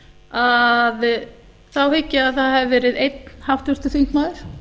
að þá hygg ég að það hafi verið einn háttvirtur þingmaður